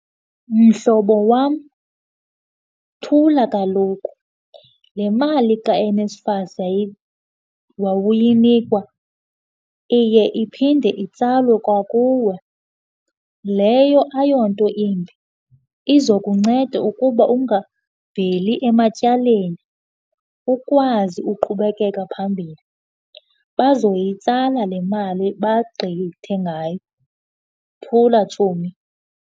Mhlobo wam, thula kaloku. Le mali kaNSFAS wawuyinikwa iye iphinde itsalwe kwakuwe, leyo ayo nto imbi. Iza kunceda ukuba ungaveli ematyaleni ukwazi uqhubekeka phambili. Bazoyitsala le mali bagqithe ngayo. Thula, tshomi.